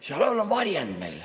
Seal all on varjend.